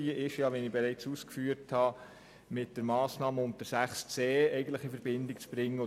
Wie ich bereits ausgeführt habe, ist die Planungserklärung 2 mit der Massnahme unter 6.c in Verbindung zu bringen.